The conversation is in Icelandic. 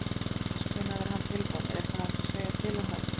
Hjördís: Hvenær verður hann tilbúinn, er eitthvað hægt að segja til um það?